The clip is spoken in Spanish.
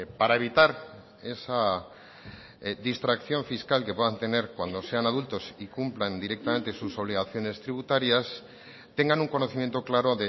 para evitar esa distracción fiscal que puedan tener cuando sean adultos y cumplan directamente sus obligaciones tributarias tengan un conocimiento claro